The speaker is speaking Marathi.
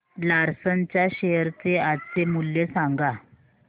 लार्सन च्या शेअर चे आजचे मूल्य सांगा